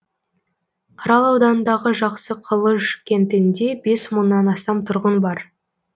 арал ауданындағы жақсықылыш кентінде бес мыңнан астам тұрғын бар